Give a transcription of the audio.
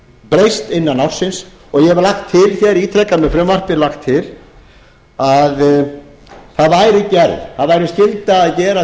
breyst innan ársins og ég hef lagt til hér ítrekað með frumvarpi lagt til að það væri skylda að gera